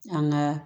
An ka